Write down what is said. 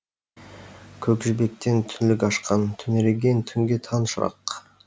көк жібектен түңлік ашқан түнерген түнге таң шырақ